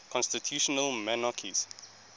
constitutional monarchies